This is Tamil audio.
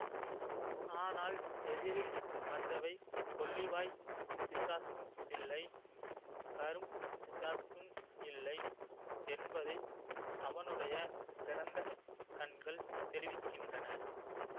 ஆனால் எதிரில் வந்தவை கொள்ளிவாய்ப் பிசாசும் இல்லை கரும் பிசாசும் இல்லை என்பதை அவனுடைய திறந்த கண்கள் தெரிவிக்கின்றன